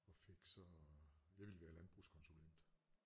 Og fik så jeg ville være landbrugskonsulent